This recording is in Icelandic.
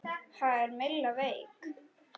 Ha, er Milla veik?